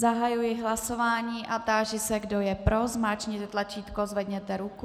Zahajuji hlasování a táži se, kdo je pro, zmáčkněte tlačítko, zvedněte ruku.